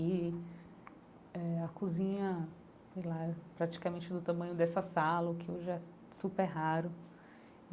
E eh a cozinha ela era praticamente do tamanho dessa sala, o que hoje é super raro.